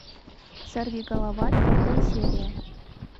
сорвиголова пятая серия